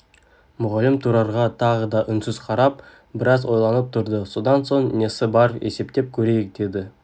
мұғалім тұрарға тағы да үнсіз қарап біраз ойланып тұрды содан соң несі бар есептеп көрейік деді